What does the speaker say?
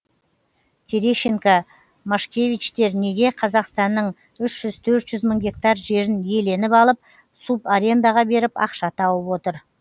терещенко машкевичтер неге қазақстанның үш жүз төрт жүз мың гектар жерін иеленіп алып субарендаға беріп ақша тауып отыр